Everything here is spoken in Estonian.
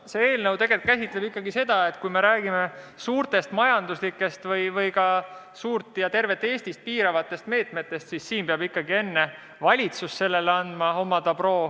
See eelnõu käsitleb tegelikult ikkagi seda, et kui me räägime suurtest majanduslikest ja ka suurt osa või tervet Eestit piiravatest meetmetest, siis peab valitsus andma sellele enne oma dobro.